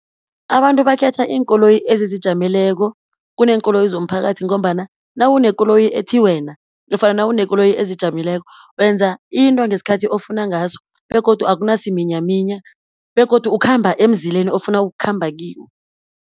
Abantu bakhetha iinkoloyi ezizijameleko kuneenkoloyi zomphakathi, ngombana nawunekoloyi ethi wena, nofana nawunekoloyi ezijameleko, wenza into ngesikhathi ofuna ngaso, begodu akunasiminyaminya, begodu ukhamba emzileni ofuna ukukhamba kiwo.